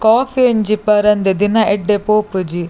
Coffee ಒಂಜಿ ಪರಂದೆ ದಿನ ಎಡ್ದೆ ಪೋಪುಜಿ.